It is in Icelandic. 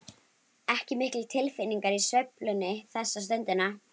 Ekki miklar tilfinningar í sveiflunni þessa stundina.